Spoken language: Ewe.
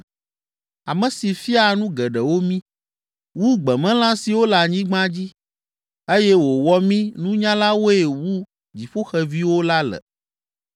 ame si fiaa nu geɖewo mí, wu gbemelã siwo le anyigba dzi eye wòwɔ mí nunyalawoe wu dziƒoxeviwo la le?’